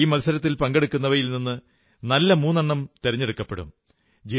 ഈ മത്സരത്തിൽ പങ്കെടുക്കുന്നവയിൽ നിന്ന് നല്ല മൂന്നെണ്ണം തെരഞ്ഞെടുക്കപ്പെടും